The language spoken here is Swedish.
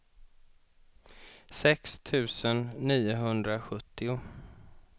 sex tusen niohundrasjuttio